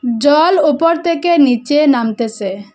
জল ওপর থেকে নীচে নামতেসে।